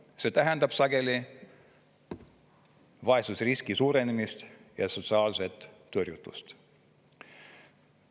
See tähendab sageli vaesusriski suurenemist ja sotsiaalset tõrjutust.